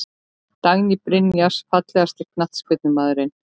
Dagný Brynjars Fallegasti knattspyrnumaðurinn?